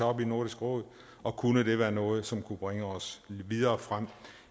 op i nordisk råd og kunne det være noget som kunne bringe os videre frem